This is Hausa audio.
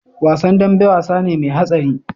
Wasan dambe wasane me hatsari